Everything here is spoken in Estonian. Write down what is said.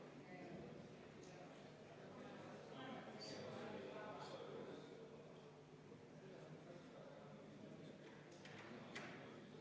Tulemusega poolt 43, vastu 5, erapooletuid 0, leidis muudatusettepanek toetust.